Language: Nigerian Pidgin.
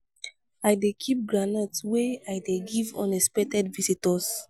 i dey keep groundnut wey i dey give unexpected visitors.